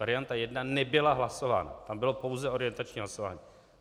Varianta 1 nebyla hlasována, tam bylo pouze orientační hlasování.